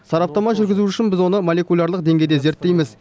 сараптама жүргізу үшін біз оны молекулярлық деңгейде зерттейміз